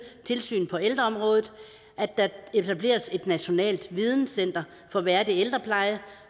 tilsyn på ældreområdet at der etableres et nationalt videnscenter for værdig ældrepleje